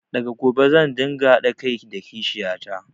Daga gobe zan ɗinga haɗa kai da kishiyata